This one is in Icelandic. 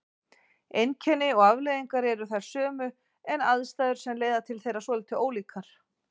Einkenni og afleiðingar eru þær sömu en aðstæður sem leiða til þeirra svolítið ólíkar.